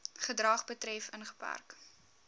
gedrag betref ingeperk